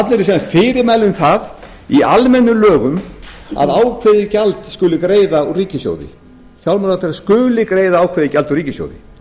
sem sagt fyrirmæli um það í almennum lögum að ákveðið gjald skuli greiða úr ríkissjóði fjármálaráðherra skuli greiða ákveðið gjald úr ríkissjóði